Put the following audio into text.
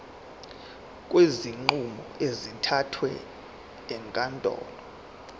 kwezinqumo ezithathwe ezinkantolo